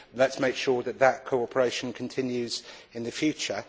Let us make sure that this cooperation continues in the future.